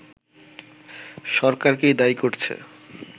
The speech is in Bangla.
সরকারকেই দায়ি করছে